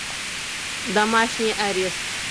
домашний арест